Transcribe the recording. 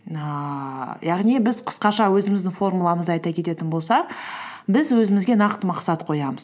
ііі яғни біз қысқаша өзіміздің формуламызды айта кететін болсақ біз өзімізге нақты мақсат қоямыз